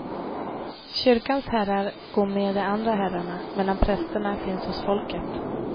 Kyrkans herrar går med de andra herrarna, medan prästerna finns hos folket.